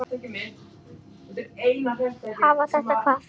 Hafa þetta hvað?